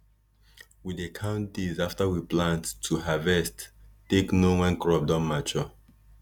we dey count days after we plant to harvest take know when crop don mature